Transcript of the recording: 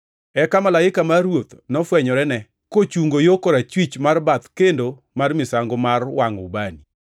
Eka malaika mar Ruoth Nyasaye nofwenyorene, kochungo yo korachwich mar bath kendo mar misango mar wangʼo ubani.